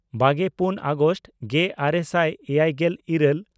ᱵᱟᱜᱮᱯᱩᱱ August ᱜᱮᱼᱟᱨᱮ ᱥᱟᱭ ᱮᱭᱟᱭᱜᱮᱞ ᱤᱨᱟᱹᱞ